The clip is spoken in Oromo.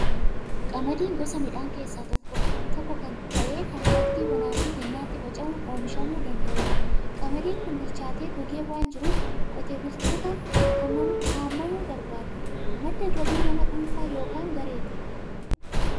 Qamadiin gosa midhaanii keessaa tokko ta'ee kan waqtii bonaa fi gannaatti faca'uun oomishamuu danda'u dha. Qamadiin kun bichaatee gogee waan jiruuf, qotee bultootaan haamamuu barbaada. Madda galii nama dhuunfaa yookiin gareeti.